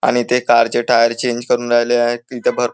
आणि ते कार चे टायर चेंज करून राहिले आहे तिथे भरपूर--